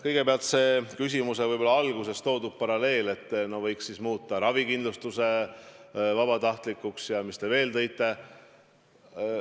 Kõigepealt see küsimuse alguses toodud paralleel, et võiks siis muuta ravikindlustuse vabatahtlikuks ja mis te veel tõite.